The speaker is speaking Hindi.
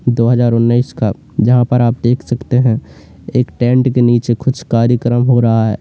दो हजार ओनइस का जहां पर आप देख सकते हैं एक टेंट के नीचे कुछ कार्यक्रम हो रहा है।